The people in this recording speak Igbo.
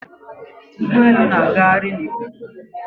Ụgbọelu na-agagharị na ikuku